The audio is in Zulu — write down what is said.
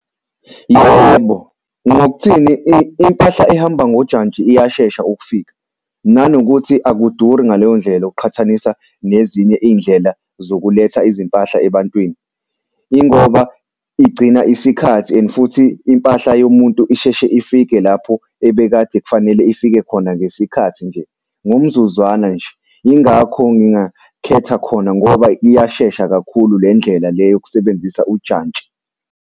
Yebo, ngokuthini impahla ehamba ngojantshi iyashesha ukufika nanokuthi akuduri, ngaleyo ndlela uqhathanisa nezinye iy'ndlela zokuletha izimpahla ebantwini. Yingoba igcina isikhathi and futhi impahla yomuntu isheshe ifike lapho ebekade kufanele ifike khona ngesikhathi nje ngomzuzwana nje. Yingakho ngingakhetha khona ngoba iyashesha kakhulu le ndlela le yokusebenzisa ujantshi.